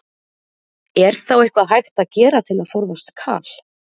Er þá eitthvað hægt að gera til að forðast kal?